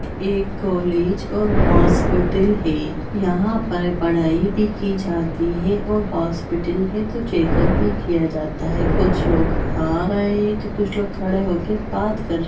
एक कॉलेज और हॉस्पिटल है यहां पर पढ़ाई भी की जाती है और हॉस्पिटल है तो चेकअप भी किया जाता है कुछ लोग आ रहे हैं तो कुछ लोग खड़े होकर बात कर--